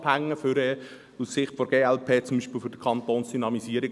Demnach bestehe aus Sicht der glp offenbar irgendwie einen Zusammenhang mit dem Jurasitz.